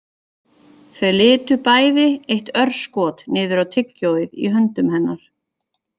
Þau litu bæði eitt örskot niður á tyggjóið í höndum hennar